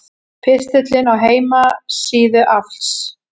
Pistillinn á heimasíðu AFLs